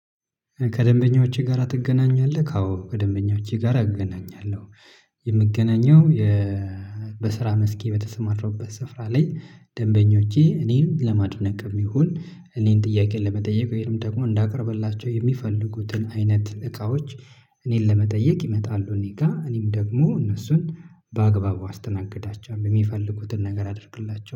ከደንበኞችህ ጋራ ትገናኛለህ? አዎ ከደንበኞቼ ጋራ እገናኛለሁ። የምገናኘው የ በስራ መስኬ በተሰማራሁበት ስፍራ ላይ ደንበኞቼ እኔን ለማድነቅም ይሁን እኔን ጥያቄ ለመጠየቅ ወይም ደግሞ እንዳቀርብላቸው የሚፈልጉትን አይነት እቃዎች እኔን ለመጠየቅ ይመጣሉ። እኔ ጋር እኔም ደግሞ እነሱን በአግባቡ አስተናግዳቸዋለሁ የሚፈልጉትን ነገር አደርግላቸዋለሁ